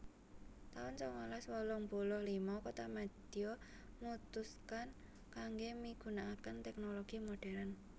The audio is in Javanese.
taun sangalas wolung puluh lima kotamadya mutuskan kanggé migunakaken tèknologi modern